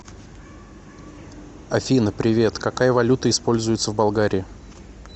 афина привет какая валюта используется в болгарии